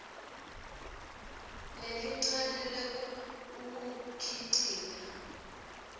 lelincane lekuwukhicita